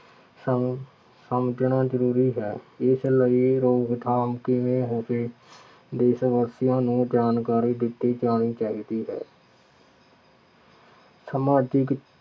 ਸਮ ਸਮਝਣਾ ਜ਼ਰੂ੍ਰੀ ਹੈ। ਇਸ ਲਈ ਦੇਸ਼ ਵਾਸੀਆ ਨੂੰ ਜਾਣਕਾਰੀ ਦਿੱਤੀ ਜਾਣੀ ਚਾਹੀਦੀ ਹੈ। ਸਮਾਜਿਕ